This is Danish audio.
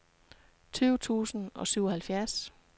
tyve tusind og syvoghalvfjerds